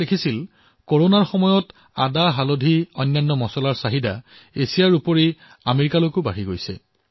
ইয়াত লিখিছে যে কৰোনাৰ সময়ছোৱাত আদা হালধি আৰু আনবোৰ মছলা এছিয়াৰ উপৰিও আমেৰিকাতো চাহিদা বৃদ্ধি হৈছে